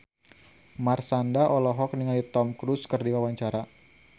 Marshanda olohok ningali Tom Cruise keur diwawancara